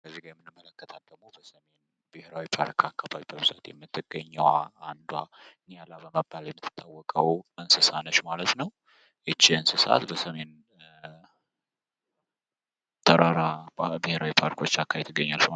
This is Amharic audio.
እዚህ ጋር የምንመለከታት ደግሞ በሰሜን ብሔራዊ ፓርክ የምትገኘው አንዷ ኒያላ በመባል የምትታወቀዋ እንስሳ ነች ማለት ነው። ይህች እንስሳ በሰሜን ተራራ ብሔራዊ ፓርኮች አካባቢ ትገኛለች ማለት ነው።